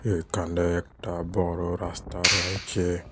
এখানে একটা বড় রাস্তা রয়েছে।